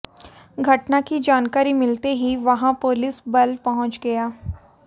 घटना की जानाकारी मिलते ही वहां पुलिस बल पहुंच गया